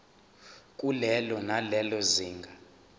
kulelo nalelo zinga